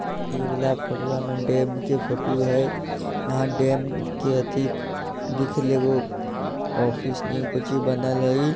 इ वाला फोटूवा में डैम के फोटो हेय इहा डैम के अथी दिख रहले एगो ऑफिस नियर कोय चीज बनल हेय इ।